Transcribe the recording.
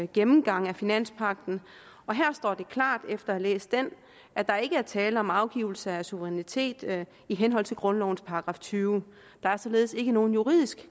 gennemgang af finanspagten og her står det klart efter at have læst den at der ikke er tale om afgivelse af suverænitet i henhold til grundlovens § tyvende der er således ikke nogen juridisk